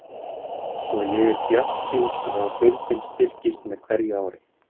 Svo ég er bjartsýn á að deildin styrkist með hverju ári.